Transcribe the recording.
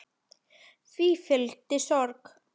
Því fylgi sorg.